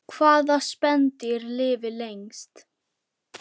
Hvaða spendýr lifir lengst?